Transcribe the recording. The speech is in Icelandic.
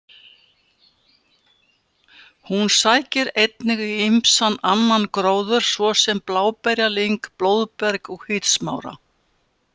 Hún sækir einnig í ýmsan annan gróður svo sem bláberjalyng, blóðberg og hvítsmára.